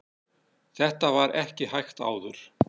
þetta var ekki hægt áður